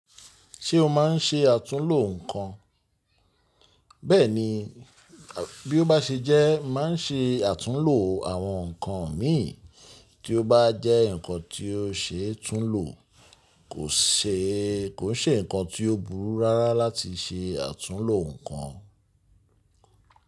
Ṣé o má ń ṣe àtúnlo ǹnkan? Bẹ́ẹ̀ni, bí ó bá ṣe jẹ́, mà ń ṣe àtúnlo àwọn nǹkan mi. Tí ó bá jẹ́ nǹkan tí ó ṣe é tún lo, kò ṣe, kò ṣe nǹkan tí ó burú rárá láti ṣe àtúnlo nǹkan.